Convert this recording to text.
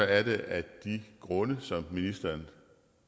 af de grunde som ministeren